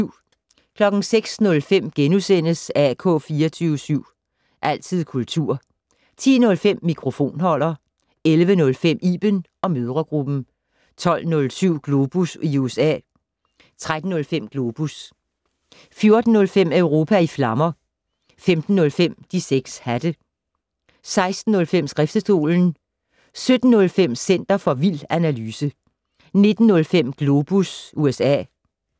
06:05: AK 24syv. Altid kultur * 10:05: Mikrofonholder 11:05: Iben & mødregruppen 12:07: Globus i USA 13:05: Globus 14:05: Europa i flammer 15:05: De 6 hatte 16:05: Skriftestolen 17:05: Center for vild analyse 19:05: Globus USA